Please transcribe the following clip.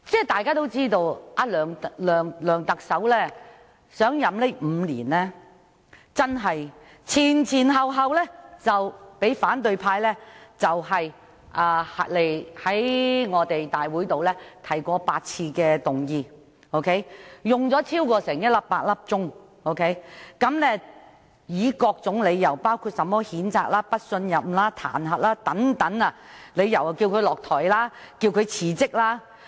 大家也知道，自梁特首上任5年以來，反對派已先後在立法會提出8次議案，並一共花了超過100小時進行討論，而所用的理由包括譴責、不信任或彈劾等，要求他下台或辭職。